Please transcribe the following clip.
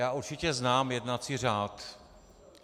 Já určitě znám jednací řád.